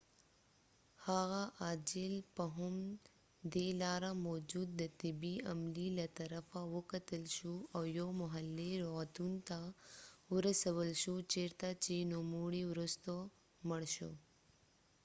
هغه عاجل په هم دي لاره موجود د طبی عملی له طرفه وکتل شو او یو محلي روعتون ته ورسول شو چېرته چې نوموړی وروسته مړ شو